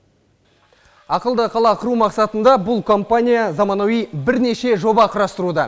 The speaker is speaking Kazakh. ақылды қала құру мақсатында бұл компания заманауи бірнеше жоба құрастыруда